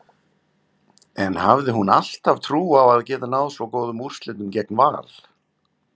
En hafði hún alltaf trú á að geta náð svo góðum úrslitum gegn Val?